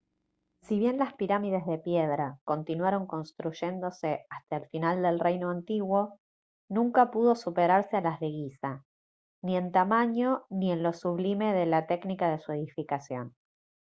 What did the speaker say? si bien las pirámides de piedra continuaron construyéndose hasta el final del reino antiguo nunca pudo superarse a las de guiza ni en tamaño ni en lo sublime de la técnica de su edificación